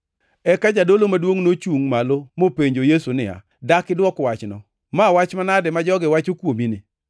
Eka jadolo maduongʼ nochungʼ malo mopenjo Yesu niya, “Dak idwok wachno? Ma wach manade ma jogi wacho kuomini?”